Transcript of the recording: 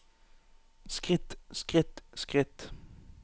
skritt skritt skritt